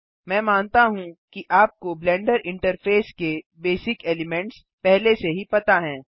मैं मानता हूँ कि आपको ब्लेंडर इन्टरफ़ेस के बेसिक एलिमेंट्स पहले से ही पता हैं